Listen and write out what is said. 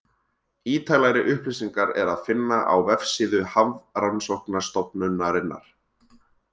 Ítarlegri upplýsingar er að finna á vefsíðu Hafrannsóknastofnunarinnar.